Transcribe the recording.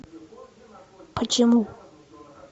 почему